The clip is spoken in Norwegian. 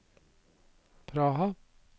Praha